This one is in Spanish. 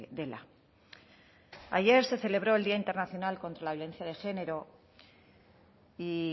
dela ayer se celebró el día internacional contra la violencia de género y